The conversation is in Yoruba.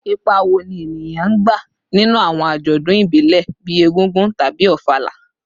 Ipa wo ni eniyan n gba ninu awọn ajọdun ibile bii Egúngún tabi Ofala?